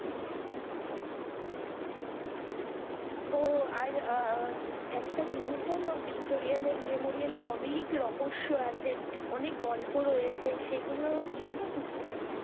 ও আর আহ একটা জিনিস জানো ভিক্টোরিয়া মেমোরিয়ালের অনেক রহস্য আছে, অনেক গল্প রয়েছে, সেগুলো জানো কিছু?